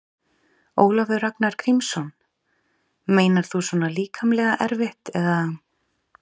Ólafur Ragnar Grímsson: Meinar þú svona líkamlega erfitt eða?